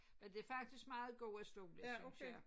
Men det faktisk meget gode stole synes jeg